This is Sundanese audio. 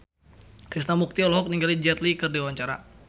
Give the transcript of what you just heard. Krishna Mukti olohok ningali Jet Li keur diwawancara